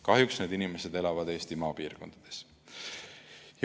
Kahjuks elavad need inimesed Eesti maapiirkondades.